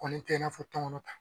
Kɔni tɛ i n'a fɔ tɔnkɔnɔ ta.